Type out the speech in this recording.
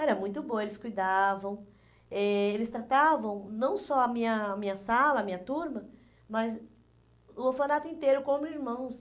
Era muito boa, eles cuidavam, eles tratavam não só a minha minha sala, a minha turma, mas o orfanato inteiro, como irmãos.